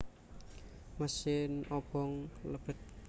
Mesin obong lebet